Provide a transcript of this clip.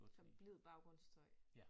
Som blid baggrundsstøj